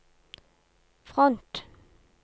front